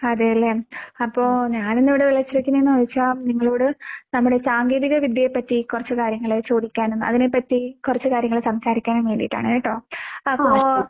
അതേല്ലേ. അപ്പൊ ഞാനിന്നിവിടെ വിളിച്ചിരിക്കുന്നേന്ന് വെച്ചാ നിങ്ങളോട് നമ്മുടെ സാങ്കേതിക വിദ്യയെപ്പറ്റി കൊറച്ച് കാര്യങ്ങള് ചോദിക്കാനും അതിനെപ്പറ്റി കൊറച്ച് കാര്യങ്ങള് സംസാരിക്കാനും വേണ്ടീട്ടാണ് കേട്ടോ? അപ്പൊ